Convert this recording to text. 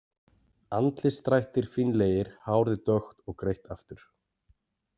Andlitsdrættir fínlegir, hárið dökkt og greitt aftur.